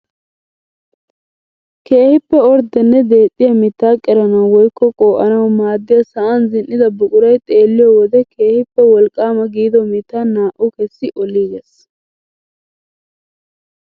Keehippe orddenne deexxiyaa miittaa qeranawu woykko qoo'anawu maaddiyaa sa'an zini"da buquray xeelliyoo wode keehippe wolqqaama giido mittaa naa"u kessi oliiges!